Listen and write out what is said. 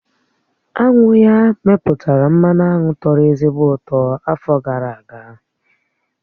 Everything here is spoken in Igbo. Aṅụ ya mepụtara mmanụ aṅụ tọ̀rọ̀ ezigbo ụtọ afọ gara aga